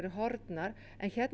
horfnar en hér